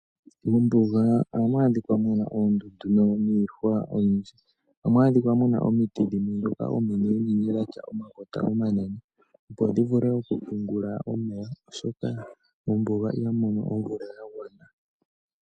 Mombuga ohamu adhika muna oondundu niihwa oyindji ohamu adhika owala omiti dhoka ominene dhina omakota omanene, opo dhi vule okupungula omeya oshoka mombuga ihamu mono omvula ya gwana.